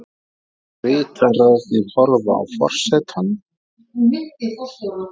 Ritararnir horfa á forsetann.